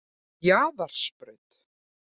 Jaðarsbraut